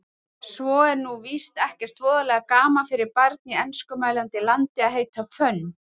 Svo er nú víst ekkert voðalega gaman fyrir barn í enskumælandi landi að heita Fönn